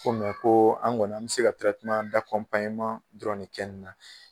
Mɛ ko an kɔni an bɛ se ka dɔrɔnn de kɛ nina.